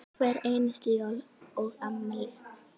Hver einustu jól og afmæli.